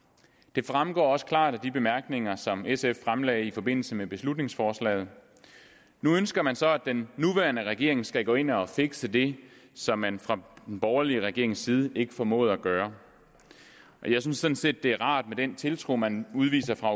det fremgår også klart af de bemærkninger som sf fremlagde i forbindelse med beslutningsforslaget nu ønsker man så at den nuværende regering skal gå ind og fikse det som man fra den borgerlige regerings side ikke formåede at gøre jeg synes sådan set det er rart med den tiltro man udviser fra